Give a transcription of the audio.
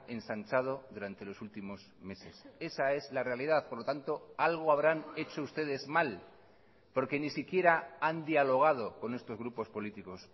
ensanchado durante los últimos meses esa es la realidad por lo tanto algo habrán hecho ustedes mal porque ni siquiera han dialogado con estos grupos políticos